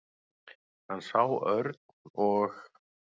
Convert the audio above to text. Hann sá Örn og